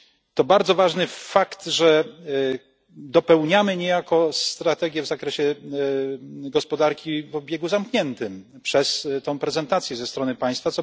To bardzo ważny fakt, że dopełniamy niejako strategię w zakresie gospodarki o obiegu zamkniętym przez tę prezentację ze strony Państwa.